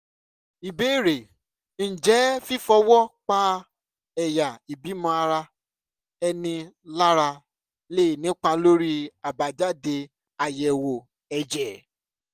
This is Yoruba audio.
ìbéèrè: ǹjẹ́ fífọwọ́ pa ẹ̀yà ìbímọ ara-ẹni lára lè nípa lórí àbájáde àyẹ̀wò ẹ̀jẹ̀?